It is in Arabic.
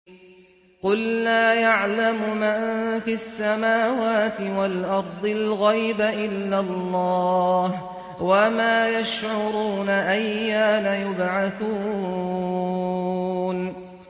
قُل لَّا يَعْلَمُ مَن فِي السَّمَاوَاتِ وَالْأَرْضِ الْغَيْبَ إِلَّا اللَّهُ ۚ وَمَا يَشْعُرُونَ أَيَّانَ يُبْعَثُونَ